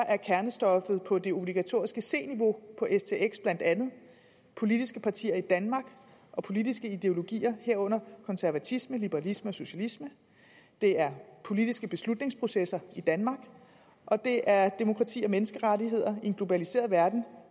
at kernestoffet på det obligatoriske c niveau på stx blandt andet politiske partier i danmark og politiske ideologier herunder konservatisme liberalisme og socialisme det er politiske beslutningsprocesser i danmark og det er demokrati og menneskerettigheder i en globaliseret verden